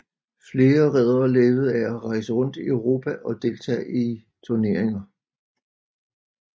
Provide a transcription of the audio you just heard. Flere riddere levede af at rejse rundt i Europa og deltage i turneringer